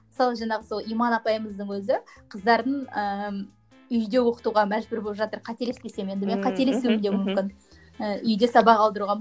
мысалы жаңағы сол иман апайымыздың өзі қыздарын ыыы үйде оқытуға мәжбүр болып жатыр қателеспесем енді менің қателесуім де мүмкін ііі үйде сабақ алдыруға